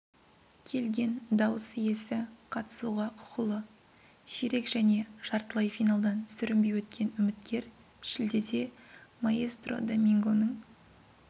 келген дауыс иесі қатысуға құқылы ширек және жартылай финалдан сүрінбей өткен үміткер шілдеде маэстро домингоның